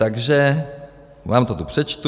Takže vám to tu přečtu: